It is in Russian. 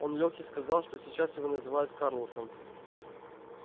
он лёхе сказал что сейчас его называют карлосом